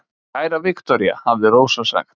Kæra Viktoría, hafði Rósa sagt.